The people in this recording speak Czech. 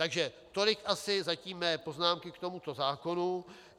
Takže tolik zatím asi mé poznámky k tomuto zákonu.